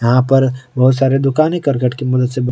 यहां पर बहुत सारे दुकान ही करकट की मदद से--